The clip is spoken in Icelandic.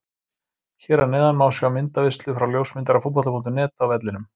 Hér að neðan má sjá myndaveislu frá ljósmyndara Fótbolta.net á vellinum.